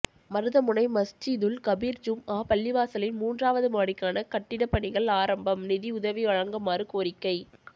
மருதமுனை மஸ்ஜிதுல் கபீர் ஜூம்ஆ பள்ளிவாசலின் மூன்றாவது மாடிக்கான கட்டிப்பணிகள் ஆரம்பம் நிதி உதவி வழங்கமாறு கோரிக்கை